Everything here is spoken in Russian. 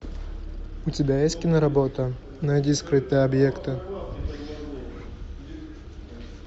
у тебя есть киноработа найди скрытые объекты